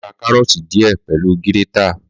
Màá rẹ karooti diẹ pẹlu giretá